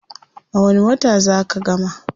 A wani wata zaa ka gama?